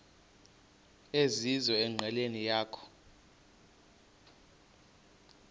ezizizo enqileni yakho